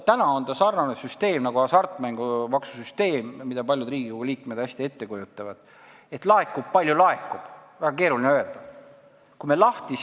Täna sarnaneb see süsteem hasartmängumaksu süsteemiga, mida paljud Riigikogu liikmed hästi ette kujutavad – laekub, palju laekub, väga keeruline on öelda, kui palju.